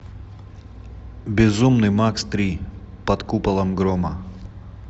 безумный макс три под куполом грома